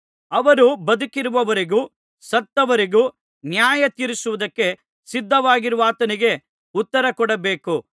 ಅವರು ಬದುಕಿರುವವರಿಗೂ ಸತ್ತವರಿಗೂ ನ್ಯಾಯತೀರಿಸುವುದಕ್ಕೆ ಸಿದ್ಧವಾಗಿರುವಾತನಿಗೆ ಉತ್ತರ ಕೊಡಬೇಕು